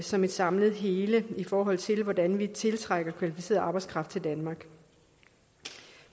som et samlet hele i forhold til hvordan vi tiltrækker kvalificeret arbejdskraft i danmark